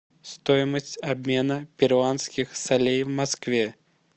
стоимость обмена перуанских солей в москве